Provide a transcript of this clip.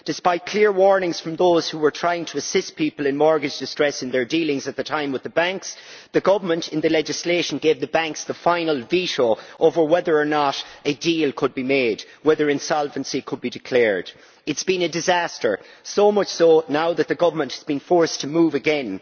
Despite clear warnings from those who were trying to assist people in mortgage distress in their dealings at the time with the banks, the government, in the legislation, gave the banks the final veto over whether or not a deal could be made, whether insolvency could be declared. It has been a disaster, so much so that now the government has been forced to move again.